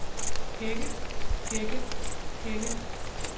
hække hække hække